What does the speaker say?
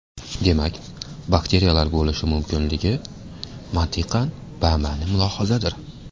Demak, bakteriyalar bo‘lishi mumkinligi – mantiqan bama’ni mulohazadir.